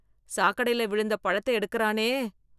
சாக்கடைல விழுந்த பழத்தை எடுக்கறானே...